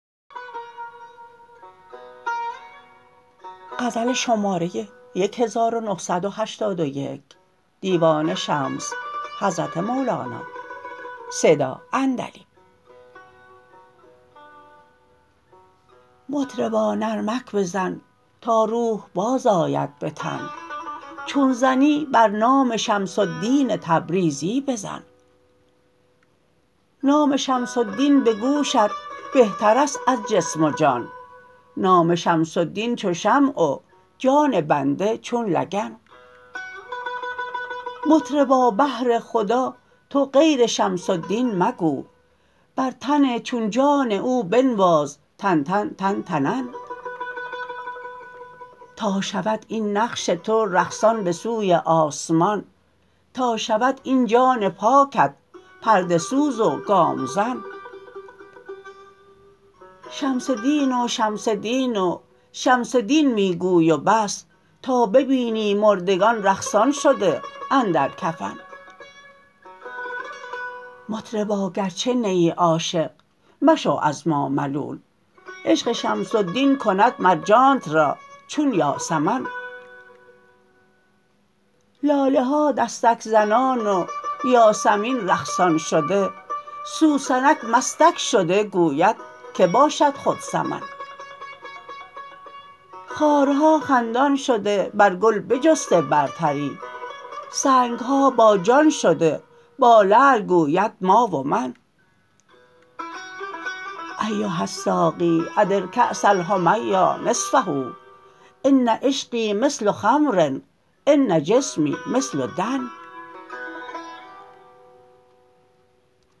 مطربا نرمک بزن تا روح بازآید به تن چون زنی بر نام شمس الدین تبریزی بزن نام شمس الدین به گوشت بهتر است از جسم و جان نام شمس الدین چو شمع و جان بنده چون لگن مطربا بهر خدا تو غیر شمس الدین مگو بر تن چون جان او بنواز تن تن تن تنن تا شود این نقش تو رقصان به سوی آسمان تا شود این جان پاکت پرده سوز و گام زن شمس دین و شمس دین و شمس دین می گوی و بس تا ببینی مردگان رقصان شده اندر کفن مطربا گرچه نیی عاشق مشو از ما ملول عشق شمس الدین کند مر جانت را چون یاسمن لاله ها دستک زنان و یاسمین رقصان شده سوسنک مستک شده گوید که باشد خود سمن خارها خندان شده بر گل بجسته برتری سنگ ها باجان شده با لعل گوید ما و من ایها الساقی ادر کأس الحمیا نصفه ان عشقی مثل خمر ان جسمی مثل دن